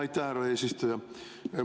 Aitäh, härra eesistuja!